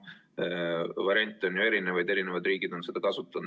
Variante on ju erinevaid, eri riigid on neid kasutanud.